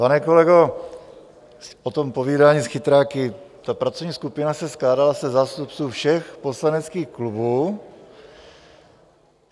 Pane kolego, o tom povídání s chytráky - ta pracovní skupina se skládala ze zástupců všech poslaneckých klubů.